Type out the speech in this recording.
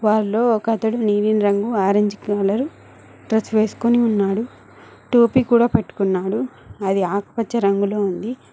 వారిలో ఒకతడు నీలిరంగు ఆరెంజ్ కలర్ డ్రెస్ వేసుకొని ఉన్నాడు టోపీ కూడా పెట్టుకున్నాడు అది ఆకుపచ్చ రంగులో ఉంది.